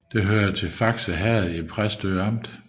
Det hørte til Fakse Herred i Præstø Amt